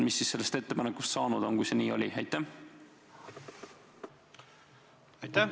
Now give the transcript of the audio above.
Mis siis sellest ettepanekust saanud on, kui see nii oli?